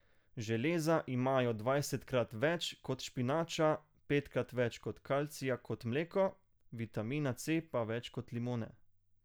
Železa imajo dvajsetkrat več kot špinača, petkrat več kalcija kot mleko, vitamina C pa več kot limone.